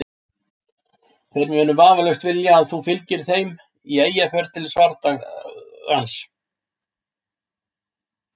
Þeir munu vafalaust vilja að þú fylgir þeim í Eyjafjörð til svardagans.